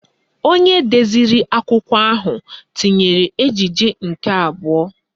Onye deziri akụkọ ahụ tinyere ejije nke abụọ